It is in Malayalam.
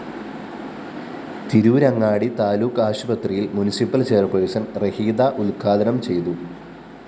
തിരൂരങ്ങാടി താലൂക്ക് ആശുപത്രിയില്‍ മുന്‍സിപ്പല്‍ ചെയർപേഴ്സൺ റഹീദ ഉദ്ഘാടനം ചെയ്തു